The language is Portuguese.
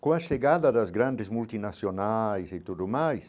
Com a chegada das grandes multinacionais e tudo mais,